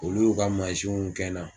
Olu y'u ka manzinw kɛ n na.